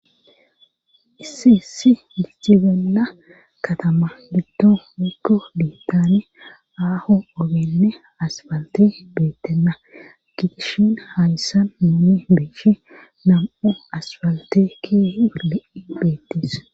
Iissi si micibenna katama litto mikko biittane aaho ogenne asbalte beettenna gidishin haadissan moome beecshi nam7u asbaltekke ilei beettis